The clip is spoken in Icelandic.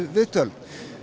viðtöl